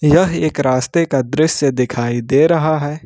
यह एक रास्ते का दृश्य दिखाई दे रहा है।